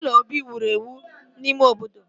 Ụlọ obi wụrụ ewụ n'ime obodo